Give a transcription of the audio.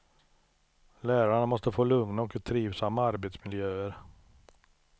Lärarna måste få lugna och trivsamma arbetsmiljöer.